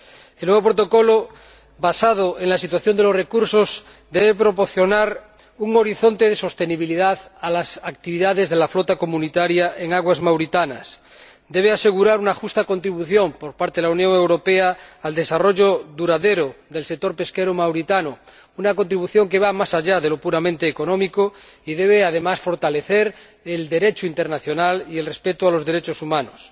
El nuevo protocolo, basado en la situación de los recursos, debe proporcionar un horizonte de sostenibilidad a las actividades de la flota comunitaria en aguas mauritanas, debe asegurar una justa contribución por parte de la Unión Europea al desarrollo duradero del sector pesquero mauritano —una contribución que va más allá de lo puramente económico— y debe, además, fortalecer el Derecho internacional y el respeto de los derechos humanos.